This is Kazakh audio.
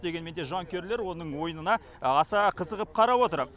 дегенмен де жанкүйерлер оның ойынына аса қызығып қарап отыр